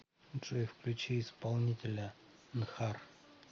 джой включи исполнителя нхар